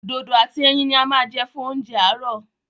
Dodo àti ẹyin ní a ma jẹ fún oúnjẹ àárọ̀.